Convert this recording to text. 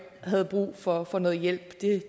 havde brug for at få noget hjælp